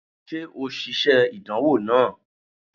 Ṣe o ṣiṣe idanwo naa?